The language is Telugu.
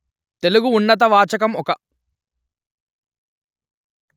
తెలుగు ఉన్నత వాచకం ఒక